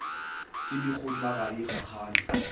ke dikgotla ga e kgakgane